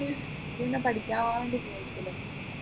നി ഇന്ന് പഠിക്കാണ്ട് പോയിട്ടില്ല